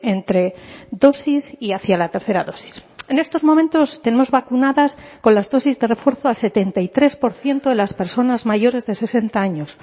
entre dosis y hacia la tercera dosis en estos momentos tenemos vacunadas con las dosis de refuerzo al setenta y tres por ciento de las personas mayores de sesenta años